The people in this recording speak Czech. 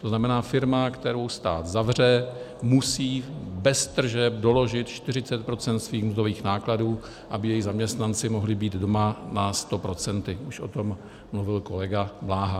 To znamená, firma, kterou stát zavře, musí bez tržeb doložit 40 % svých mzdových nákladů, aby její zaměstnanci mohli být doma na 100 %, už o tom mluvil kolega Bláha.